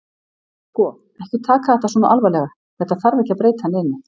Sko. ekki taka þetta svona alvarlega. þetta þarf ekki að breyta neinu.